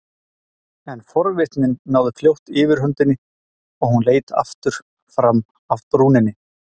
En forvitnin náði fljótt yfirhöndinni og hún leit aftur fram af brúninni.